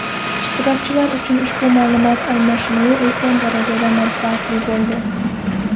Ishtirokchilar uchun ushbu ma’lumot almashinuvi ulkan darajada manfaatli bo‘ldi.